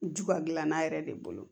Juga gilannan yɛrɛ de bolo